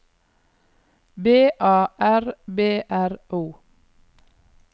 B A R B R O